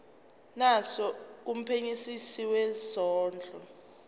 naso kumphenyisisi wezondlo